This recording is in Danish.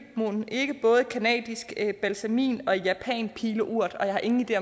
mon ikke både canadisk balsamin og japansk pileurt og jeg har ingen idé